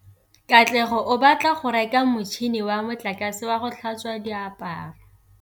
Katlego o batla go reka motšhine wa motlakase wa go tlhatswa diaparo.